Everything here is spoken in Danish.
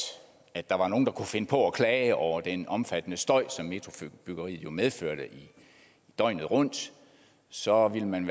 at der var nogen der kunne finde på at klage over den omfattende støj som metrobyggeriet jo medførte døgnet rundt så ville man